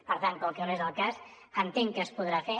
per tant com que no és el cas entenc que es podrà fer